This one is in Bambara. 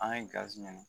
An ye gazi minɛ